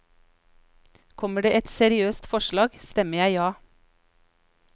Kommer det et seriøst forslag, stemmer jeg ja.